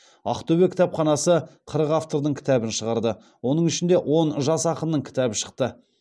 ақтөбе кітапханасы қырық автордың кітабын шығарды оның ішінде он жас ақынның кітабы шықты